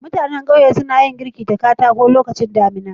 Mutannan ƙauye suna yin girki da katako lokacin damuna.